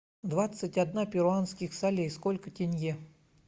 двадцать одна перуанских солей сколько тенге